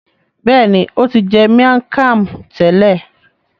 Béèni o ti jẹ miang Kham tẹlẹ.